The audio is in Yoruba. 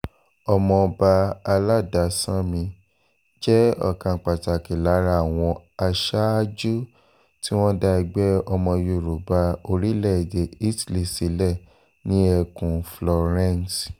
ọmọọba aládàsánmi jẹ́ ọ̀kan pàtàkì lára àwọn aṣáájú tí wọ́n dá ẹgbẹ́ ọmọ yorùbá orílẹ̀-èdè italy sílẹ̀ ní ẹkùn florence